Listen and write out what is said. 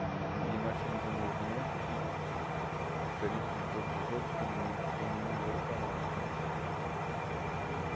E e e nós somos um movimento que, diferente de todos os outros, que ninguém tem nenhum dinheiro para nada, né? E